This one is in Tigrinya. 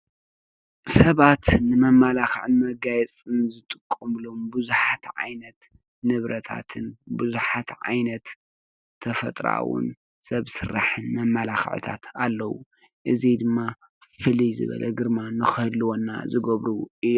ሰባት ንመመላኽዕን መጋየፅን ዝጥቀምሎም ብዙሓት ዓይነት ንብረታትን ብዙሓት ዓይነት ተፈጥራኣውን ሰብ ስራሕን መመላኽዕታት ኣለው። እዚ ድማ ፍልይ ዝበለ ግርማ ንኽህልወና ዝገብሩ እዮም።